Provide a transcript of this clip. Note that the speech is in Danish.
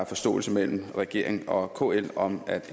forståelse mellem regeringen og kl om